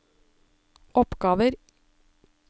oppgaver